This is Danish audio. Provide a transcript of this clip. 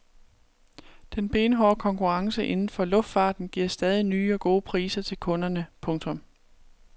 Den benhårde konkurrence inden for luftfarten giver stadig nye og gode priser til kunderne. punktum